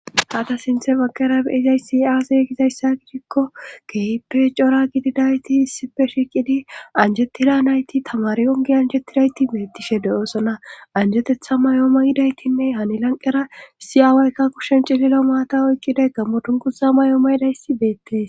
hata sinthe bagqera beyizay si aazey gizayssa gidhikko kehippe cora gididayti issife shiiqidi anjettida nayti tamari ongi anjettidayti beetishe de7oosona anjetetha mayoomo yidaytinne hanilanqera siyaawaykka kushen cililo maata oyqqiday gammodunguza mayoo ma yidayssi beettees